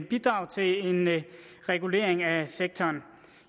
bidrag til en regulering af sektoren